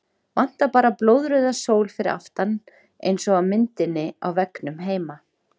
Vantar bara blóðrauða sól fyrir aftan eins og á myndinni á veggnum heima!